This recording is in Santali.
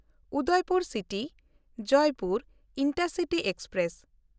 Udaipur City-Jaipur intercity express